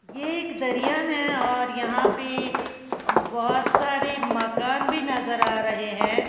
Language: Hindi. ये एक दरिया है और यहां पे बहोत सारे मकान भी नजर आ रहे हैं।